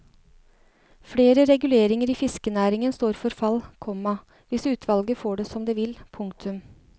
Flere reguleringer i fiskerinæringen står for fall, komma hvis utvalget får det som det vil. punktum